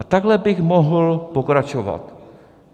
A takhle bych mohl pokračovat.